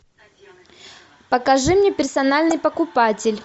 покажи мне персональный покупатель